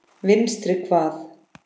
Vinstri hvað?